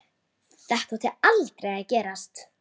Þetta átti aldrei að gerast